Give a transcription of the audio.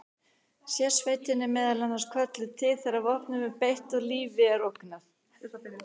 Sérsveitin er meðal annars kölluð til þegar vopnum er beitt og lífi er ógnað.